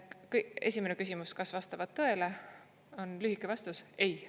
" Esimene küsimus, kas vastavad tõele, on lühike vastus: ei.